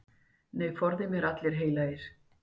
Nei, forði mér allir heilagir.